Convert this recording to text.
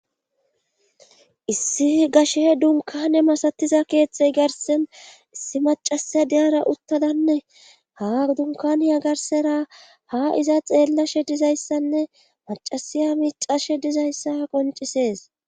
Hssi gashe dunkane masatiza keexxey garsen issi macasiya diyara uttadanne ha dunkaniya garsera ha iza xeellashe dizayssanne macasiya miicashe dizayssa qoncisees.